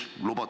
Palun!